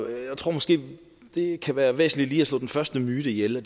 jeg tror måske det kan være væsentligt lige at slå den første myte ihjel og